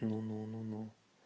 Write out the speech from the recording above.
ну ну ну ну